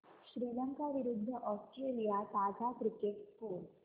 श्रीलंका विरूद्ध ऑस्ट्रेलिया ताजा cricket score